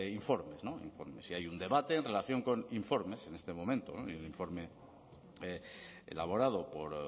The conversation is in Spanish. informes y hay un debate en relación con informes en este momento hay un informe elaborado por